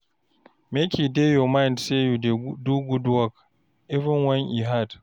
Make e dey your mind sey you dey do good work, even wen e hard.